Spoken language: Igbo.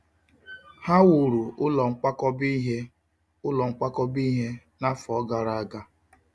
Ha wuru ụlọ nkwakọba ihe ụlọ nkwakọba ihe n'afọ gara aga.